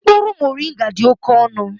Mkpụrụ moringa dị oke ọnụ